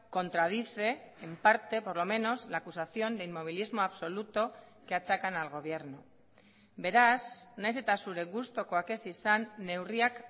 contradice en parte por lo menos la acusación de inmovilismo absoluto que achacan al gobierno beraz nahiz eta zure gustukoak ez izan neurriak